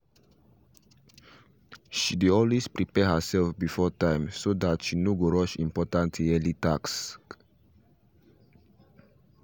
she dey always prepare her self before time so tht she no go rush important yearly tax tasks